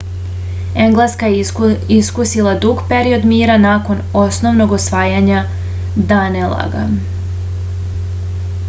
engleska je iskusila dug period mira nakon ponovnog osvajanja danelaga